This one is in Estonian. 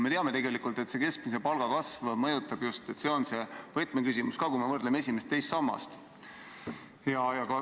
Me teame, et keskmise palga kasv on võtmeküsimus, kui me võrdleme esimest ja teist sammast.